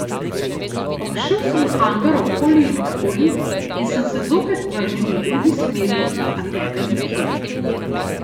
Obšel sem hangar okoli in okoli in sem se zopet vrnil v drugi smeri, a tebe nikjer.